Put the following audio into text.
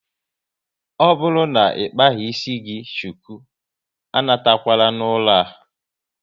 Ọ bụrụ na ịkpaghi ịsị gị shuku, a natakwala n'ụlọ a